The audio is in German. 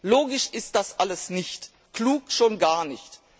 Logisch ist das alles nicht. Klug schon gar nicht.